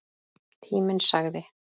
Tíminn sagði